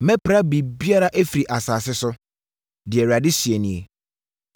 “Mɛpra biribiara afiri asase so” deɛ Awurade seɛ nie,